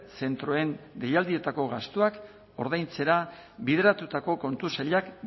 zentroen deialdietako gastuak ordaintzera bideratutako kontu sailak